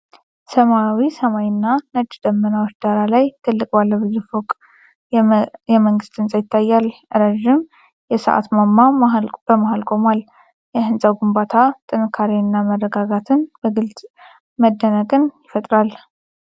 ሰማያዊ ሰማይና ነጭ ደመናዎች ዳራ ላይ ትልቅ ባለብዙ ፎቅ የመንግስት ህንጻ ይታያል። ረዥም የሰዓት ማማ በመሀል ቆሟል። የሕንፃው ግንባታ ጥንካሬንና መረጋጋትን በመግለጽ መደነቅን ይፈጥራል።